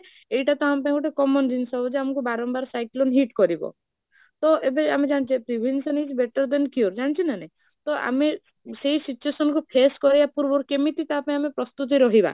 ଏଇଟା ତ ଆମ ପାଇଁ ଗୋଟେ common ଜିନିଷ ଯେ ଆମକୁ ବାରମ୍ବାର cyclone hit କରିବ, ତ ଏବେ ଆମେ ଜାଣିଛେ prevention is better than cure, ଜାଣିଛ ନା ନାହିଁ, ତ ଆମେ ସେଇ situation କୁ face କରିବା ପୂର୍ବରୁ କେମିତି ତା ପାଇଁ ଆମେ ପ୍ରସ୍ତୁତ ରହିବା